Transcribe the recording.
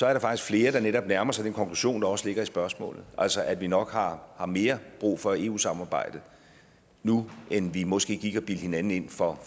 er der faktisk flere der netop nærmer sig den konklusion der også ligger i spørgsmålet altså at vi nok har har mere brug for eu samarbejdet nu end vi måske gik og bildte hinanden ind for